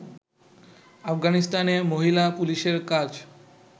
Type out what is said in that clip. আফগানিস্তানে মহিলা পুলিশের কাজ